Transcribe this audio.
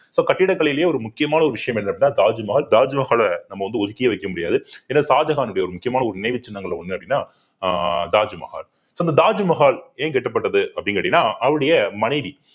so கட்டிடக்கலையிலேயே ஒரு முக்கியமான ஒரு விஷயம் என்ன அப்படின்னா தாஜ்மஹால் தாஜ்மஹாலை நம்ம வந்து ஒதுக்கியே வைக்க முடியாது ஏன்னா ஷாஜகானுடைய ஒரு முக்கியமான ஒரு நினைவுச் சின்னங்கள்ல ஒண்ணு அப்படின்னா ஆஹ் தாஜ்மஹால் so அந்த தாஜ்மஹால் ஏன் கட்டப்பட்டது அப்படின்னு கேட்டீங்கன்னா அவருடைய மனைவி